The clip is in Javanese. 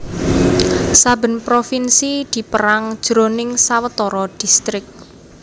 Saben provinsi dipérang jroning sawetara distrik